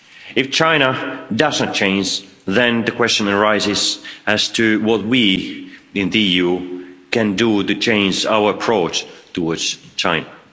If China doesn't change, then the question arises as to what we in the EU can do to change our approach towards China.